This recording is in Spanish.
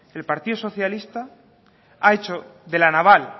el partido socialista ha hecho de la naval